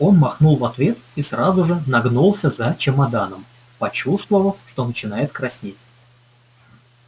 он махнул в ответ и сразу же нагнулся за чемоданом почувствовав что начинает краснеть